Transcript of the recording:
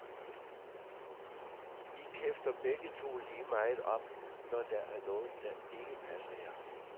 I kæfter begge to lige meget op, når der er noget der ikke passer jer.